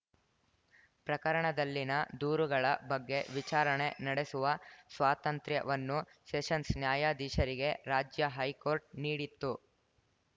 ಪ್ರಕರಣದಲ್ಲಿನ ದೂರುಗಳ ಬಗ್ಗೆ ವಿಚಾರಣೆ ನಡೆಸುವ ಸ್ವಾತಂತ್ರ್ಯವನ್ನು ಸೆಷನ್ಸ್‌ ನ್ಯಾಯಾಧೀಶರಿಗೆ ರಾಜ್ಯ ಹೈಕೋರ್ಟ್‌ ನೀಡಿತ್ತು